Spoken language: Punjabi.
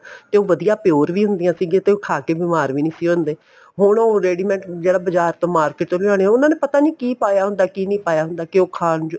ਤੇ ਉਹ ਵਧੀਆ pure ਵੀ ਹੁੰਦੀਆਂ ਸੀਗੀਆਂ ਤੇ ਉਹ ਖਾਕੇ ਬੀਮਾਰ ਵੀ ਨਹੀਂ ਸੀ ਹੁੰਦੇ ਹੁਣ ਉਹ ready made ਜਿਹੜਾ ਬਾਜ਼ਾਰ ਤੋਂ market ਚੋ ਲਿਆਣੀਆਂ ਉਹਨਾ ਨੇ ਪਤਾ ਨਹੀਂ ਕੀ ਪਾਇਆ ਹੁੰਦਾ ਕਿ ਨਹੀਂ ਪਾਇਆ ਹੁੰਦਾ ਕੇ ਉਹ ਖਾਣ ਯੋਗ